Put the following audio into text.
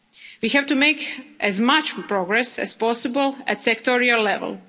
is of the essence. We have to make as much progress as possible